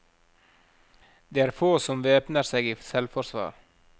Det er få som væpner seg i selvforsvar.